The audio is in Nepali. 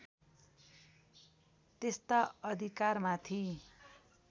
त्यस्ता अधिकारमाथि